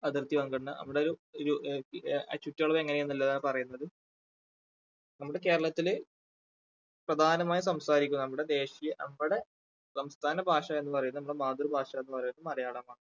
അതിർത്തി പങ്കിടുന്നത്. അവിടെ ചുറ്റളവ് എങ്ങനെയാണ് പറയുന്നത് നമ്മുടെ കേരളത്തില് പ്രധാനമായും സംസാരിക്കുന്നത് നമ്മുടെ ദേശീയ നമ്മുടെ സംസ്ഥാന ഭാഷ എന്ന് പറയുന്നത് നമ്മുടെ മാതൃ ഭാഷ എന്ന് പറയുന്നത് മലയാളമാണ്.